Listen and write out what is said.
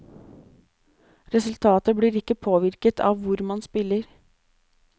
Resultatet blir ikke påvirket av hvor man spiller.